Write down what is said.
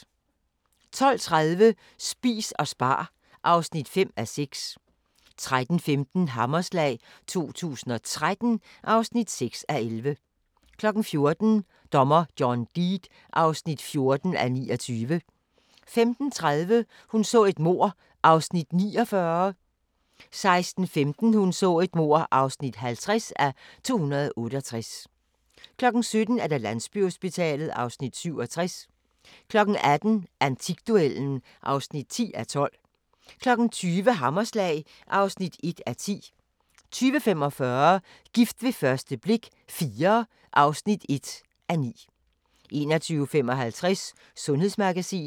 12:30: Spis og spar (5:6) 13:15: Hammerslag 2013 (6:11) 14:00: Dommer John Deed (14:29) 15:30: Hun så et mord (49:268) 16:15: Hun så et mord (50:268) 17:00: Landsbyhospitalet (Afs. 67) 18:00: Antikduellen (10:12) 20:00: Hammerslag (1:10) 20:45: Gift ved første blik – IV (1:9) 21:55: Sundhedsmagasinet